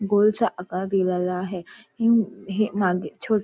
गोलचा आकार दिलेला आहे हिम हे मागे हे मागे छोड--